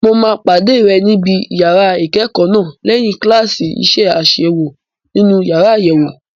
Mo máa pàdé rẹ níbi yàrá ìkẹ́kọ̀ọ́ náà lẹ́yìn kíláàsì iṣẹ́ àṣewò nínú yàrá àyẹ̀wò.